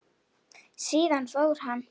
Síðan fór hann.